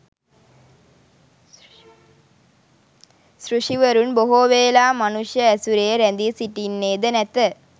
සෘෂිවරුන් බොහෝවේලා මනුෂ්‍ය ඇසුරේ රැඳී සිටින්නේද නැත.